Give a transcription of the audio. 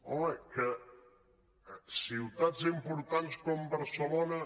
home que ciutats importants com barcelona